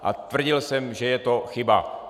A tvrdil jsem, že je to chyba.